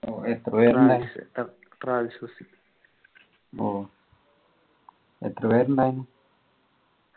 ഓ എത്ര പേര് ഉണ്ടായിരുന്നു ഓ ഓ എത്ര പേര് ഉണ്ടായിരുന്നു